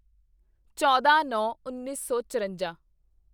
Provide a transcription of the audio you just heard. ਚੌਦਾਂਨੌਂਉੱਨੀ ਸੌ ਚਰੰਜਾ